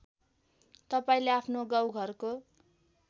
तपाईँले आफ्नो गाउँघरको